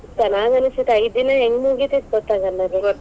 ಚೆನಾಗನ್ಸೇತ ಐದ್ ದಿನಾ ಹೆಂಗ್ ಮುಗಿತೇತಿ ಗೊತ್ತಾಗಲ್ಲಾ .